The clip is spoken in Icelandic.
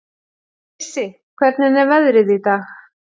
Issi, hvernig er veðrið í dag?